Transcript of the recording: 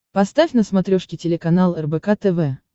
поставь на смотрешке телеканал рбк тв